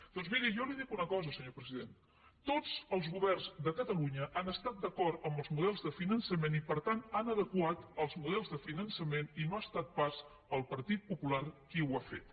doncs miri jo li dic una cosa senyor president tots els govern de catalunya han estat d’acord amb els models de finançament i per tant han adequat els models de finançament i no ha estat pas el partit popular qui ho ha fet